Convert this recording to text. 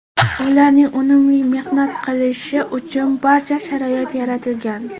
Ularning unumli mehnat qilishi uchun barcha sharoit yaratilgan.